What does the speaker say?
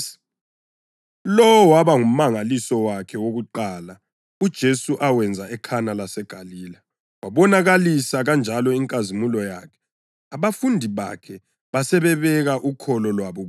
Lo waba ngumangaliso wakhe wokuqala, uJesu awenza eKhana laseGalile. Wabonakalisa kanjalo inkazimulo yakhe, abafundi bakhe basebebeka ukholo lwabo kuye.